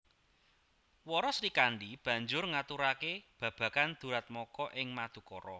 Wara Srikandhi banjur ngaturake babagan duratmaka ing Madukara